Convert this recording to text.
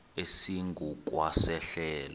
esingu kwa sehlelo